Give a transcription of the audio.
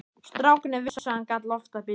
Strákarnir vissu að hann gat loftað bílum.